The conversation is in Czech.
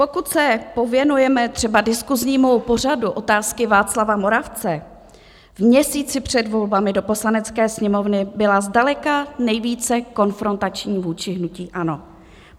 Pokud se pověnujeme třeba diskusnímu pořadu Otázky Václava Moravce, v měsíci před volbami do Poslanecké sněmovny byl zdaleka nejvíce konfrontační vůči hnutí ANO.